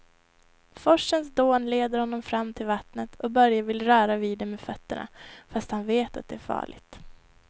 Forsens dån leder honom fram till vattnet och Börje vill röra vid det med fötterna, fast han vet att det är farligt.